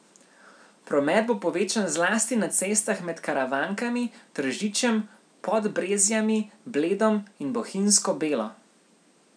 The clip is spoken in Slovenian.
Promet bo povečan zlasti na cestah med Karavankami, Tržičem, Podbrezjami, Bledom in Bohinjsko Belo.